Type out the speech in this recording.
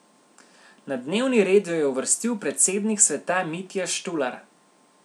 Na dnevni red jo je uvrstil predsednik sveta Mitja Štular.